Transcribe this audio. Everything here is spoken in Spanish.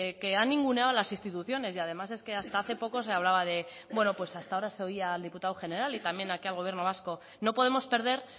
que han ninguneado a las instituciones y además es que hasta hace poco se hablaba de bueno pues hasta ahora se oía al diputado general y también aquí al gobierno vasco no podemos perder